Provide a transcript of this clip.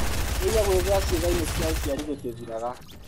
Kũigua gwĩthũa ciĩga-inĩ cia ũciari gũtĩthiraga.